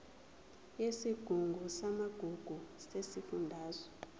yesigungu samagugu sesifundazwe